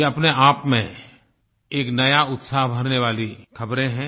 ये अपने आप में एक नया उत्साह भरने वाली ख़बरें हैं